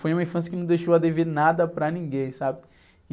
Foi uma infância que não deixou a dever nada para ninguém, sabe?